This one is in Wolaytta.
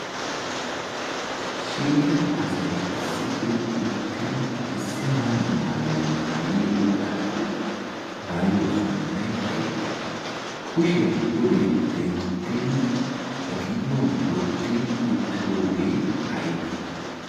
Shiiqida asay issippe uttidi issi mala maayuwaa maayidogaayyo maayuwaa sunttay aybee kushiyaa pudee denttidi ba kiyuwan wotti uttidoogee aybee?